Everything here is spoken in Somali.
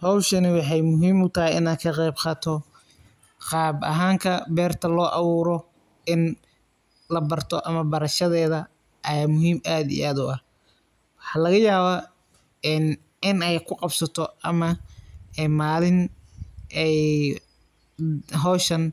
Cowshaani waxay muxiim utaxay inad kagebgato, qaab ahanka berta loawuro, in labarto ama barashadeda aya muxiim aad iyo aad uah, waxa lagayawa een in ay kuqabsato ama malin ay xowshaan